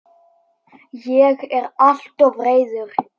Ég er alltof reiður.